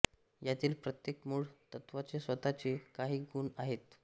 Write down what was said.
यातील प्रत्येक मूळ तत्त्वाचे स्वतःचे काही गुण आहेत